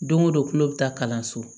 Don o don tulo bɛ taa kalanso